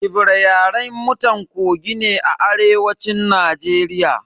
Ebira Yaren mutan Kogi ne a arewacin Najeriya.